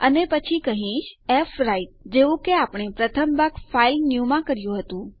અને પછી હું કહીશ ફ્વ્રાઇટ જેવું કે આપણે પ્રથમ ભાગ ફાઇલન્યુ માં કર્યું હતું